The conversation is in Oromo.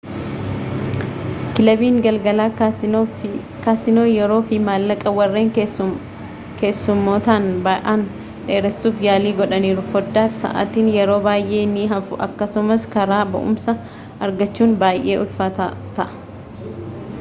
kilabiin galgalaa kaasiinoo yeroo fi maallaqa warreen keessumootaan ba’aan dheeresuuf yaalii godhaniiru . foddaafi sa’aatiin yeroo baay’ee ni hafu akkasumas karaa ba’umsaa argachuun baay’ee ulfaataa ta’a